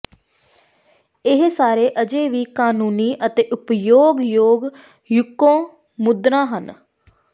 ਇਹ ਸਾਰੇ ਅਜੇ ਵੀ ਕਾਨੂੰਨੀ ਅਤੇ ਉਪਯੋਗ ਯੋਗ ਯੂਕੇ ਮੁਦਰਾ ਹਨ